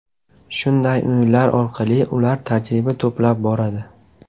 Shunday o‘yinlar orqali ular tajriba to‘plab boradi.